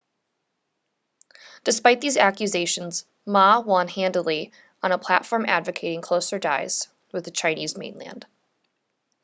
despite these accusations ma won handily on a platform advocating closer ties with the chinese mainland